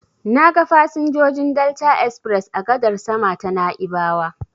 Na ga fasinjojin Delta express a gadar sama ta Na'ibawa.